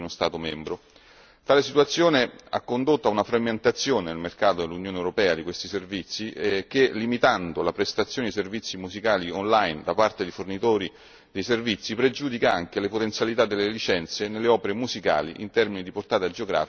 Tale situazione ha condotto ad una frammentazione nel mercato dell'Unione europea di questi servizi che, limitando la prestazione di servizi musicali online da parte di fornitori di servizi, pregiudica anche le potenzialità delle licenze nelle opere musicali in termini di portata geografica e di compenso.